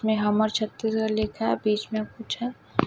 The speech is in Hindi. में हमार छत्तीसगढ़ लिखा है बिच में कुछ है।